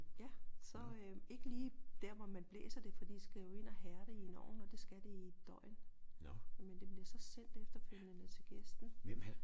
Ja så øh ikke lige dér hvor man blæser det for de skal jo ind og hærde i en ovn og det skal det i et døgn men det bliver så sendt efterfølgende til gæsten